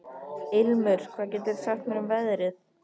Ilmur, hvað geturðu sagt mér um veðrið?